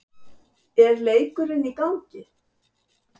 er leikurinn í gangi?